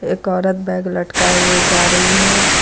एक औरत बैग लटकाए हुए जा रही है।